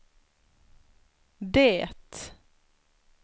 det